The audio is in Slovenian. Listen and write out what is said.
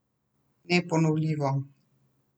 Neponovljivo!